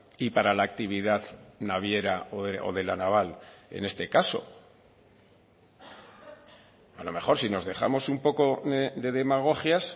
y para la actividad naviera o de la naval en este caso a lo mejor si nos dejamos un poco de demagogias